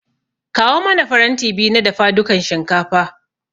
Kawo mana faranti biyu na dafadukan shinkafa.